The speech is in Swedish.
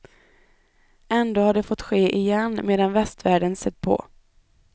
Ändå har det fått ske igen, medan västvärlden sett på.